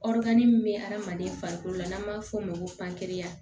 min bɛ hadamaden farikolo la n'an b'a f'o ma ko